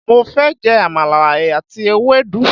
Mo fẹ́ je àmàlà àti ewédú